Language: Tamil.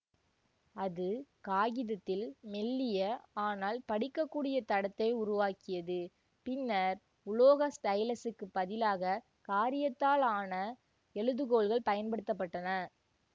அது காகிதத்தில் மெல்லிய ஆனால் படிக்கக்கூடிய தடத்தை உருவாக்கியது பின்னர் உலோக ஸ்டைலசுக்குப் பதிலாக காரீயத்தால் ஆன எழுதுகோல்கள் பயன்படுத்த பட்டன